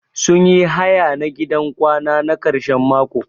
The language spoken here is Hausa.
Sun yi haya na gidan kwana na karshen mako.